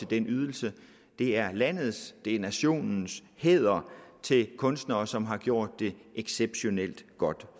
den ydelse det er landets det er nationens hæder til kunstnere som har gjort det exceptionelt godt